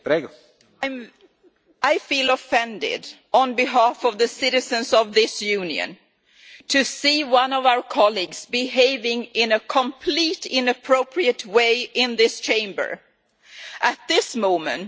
Mr President, I feel offended on behalf of the citizens of this Union, to see one of our colleagues behaving in a completely inappropriate way in this Chamber at this moment.